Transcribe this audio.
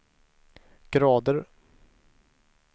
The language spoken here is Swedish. grader